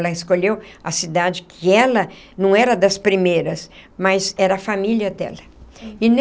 Ela escolheu a cidade que ela não era das primeiras, mas era a família dela e